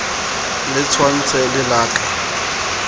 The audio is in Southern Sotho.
le tshwantshe le la ka